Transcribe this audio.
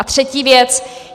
A třetí věc.